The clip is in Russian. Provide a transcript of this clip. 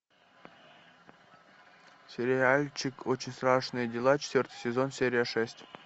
сериальчик очень страшные дела четвертый сезон серия шесть